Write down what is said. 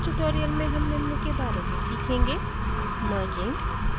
इस tutorial में हम निम्न के बारे में सीखेंगे merging